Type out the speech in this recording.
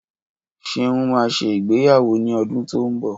Ṣeun máa ṣe ìgbéyàwó ní ọdún tí ó ń bọ̀